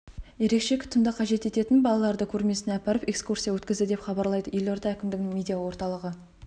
ерекше күтімді қажет ететін балаларды көрмесіне апарып экскурсия өткізді деп хабарлайды елорда әкімдігінің медиа орталығы